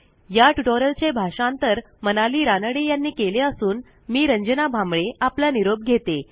या ट्युटोरियलचे भाषांतर मनाली रानडे यांनी केले असून मी रंजना भांबळे आपला निरोप घेते